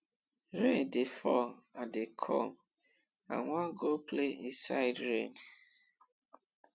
rain dey fall i dey come i wan go play inside rain